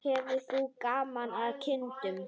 Hefur þú gaman af kindum?